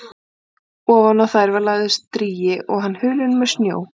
Ofan á þær var lagður strigi og hann hulinn með snjó.